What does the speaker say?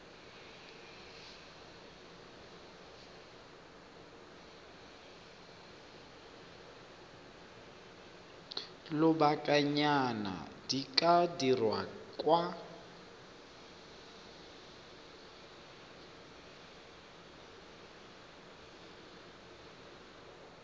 lobakanyana di ka dirwa kwa